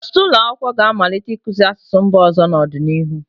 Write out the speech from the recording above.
Ọtụtụ ụlọ akwụkwọ ga-amalite ịkụzi asụsụ mba ọzọ n'ọdịnihu.